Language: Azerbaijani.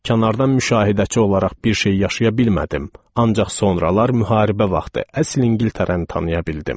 Kənardan müşahidəçi olaraq bir şey yaşaya bilmədim, ancaq sonralar müharibə vaxtı əsl İngiltərəni tanıya bildim.